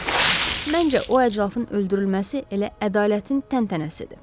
Məncə o əclafın öldürülməsi elə ədalətin təntənəsidir.